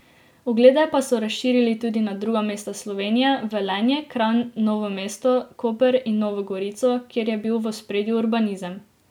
Oglede pa so razširili tudi na druga mesta Slovenije, v Velenje, Kranj, Novo mesto, Koper in Novo gorico, kjer je bil v ospredju urbanizem.